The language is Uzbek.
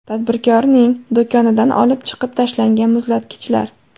Tadbirkorning do‘konidan olib chiqib tashlangan muzlatgichlar.